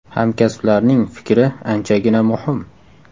Hamkasblarning fikri anchagina muhim.